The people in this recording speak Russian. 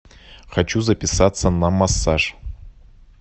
хочу записаться на массаж